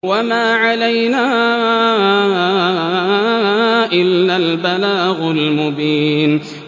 وَمَا عَلَيْنَا إِلَّا الْبَلَاغُ الْمُبِينُ